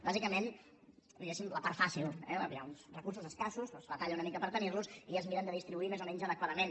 bàsicament diguéssim la part fàcil eh hi ha uns recursos escassos es batalla una mica per tenir los i es miren de distribuir més o menys adequadament